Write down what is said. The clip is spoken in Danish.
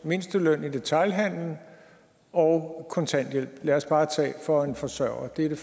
mindsteløn i detailhandelen og kontanthjælpen for en forsørger det